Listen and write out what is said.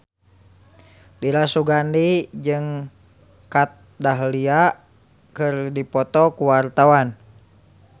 Dira Sugandi jeung Kat Dahlia keur dipoto ku wartawan